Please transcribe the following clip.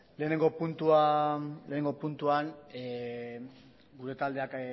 lehenengo puntuan gure taldeak